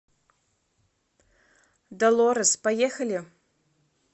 долорес поехали